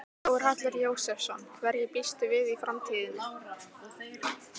Þórhallur Jósefsson: Hverju býstu við í framtíðinni?